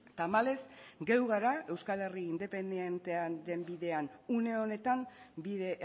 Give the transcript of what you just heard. tamales geu gara euskaleria independientean dembidean uneonetan bide